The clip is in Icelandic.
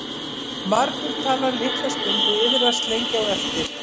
Margur talar litla stund og iðrast lengi á eftir.